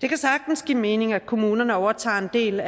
det kan sagtens give mening at kommunerne overtager en del